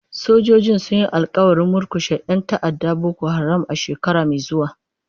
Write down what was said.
Sojojin sun yi alƙawarin murkushe 'yan ta'addar Boko Haram a shekara mai zuwa.